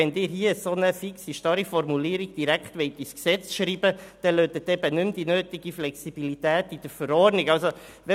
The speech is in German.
Wenn Sie hier aber eine derart fixe, starre Formulierung direkt ins Gesetz schreiben wollen, lassen Sie nicht mehr die nötige Flexibilität in der Verordnung bestehen.